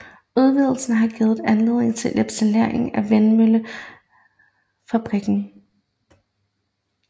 Udvidelsen har givet anledning til etablering af en vindmøllevingefabrik